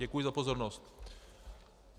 Děkuji za pozornost.